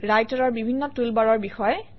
ৰাইটাৰৰ বিভিন্ন টুলবাৰৰ বিষয়ে